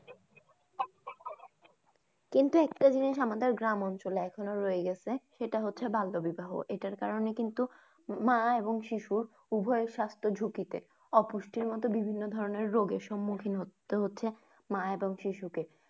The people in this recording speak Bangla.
কিন্তু একটা জিনিস আমাদের গ্রামাঞ্চলে রয়ে গেছে সেটা হচ্ছে যে বাল্য বিবাহ এটার কারণে কিন্তু মা এবং শিশু উভয়ের সাস্থ্য ঝুঁকিতে। অপুষ্টির মত বিভিন্ন ধরনের রোগের সম্মুখীন হতে হচ্ছে মা এবং শিশুকে।